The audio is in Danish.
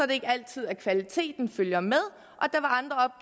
det ikke altid at kvaliteten følger med og